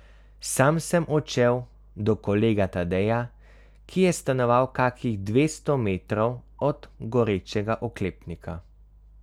Sam sem odšel do kolega Tadeja, ki je stanoval kakih dvesto metrov od gorečega oklepnika.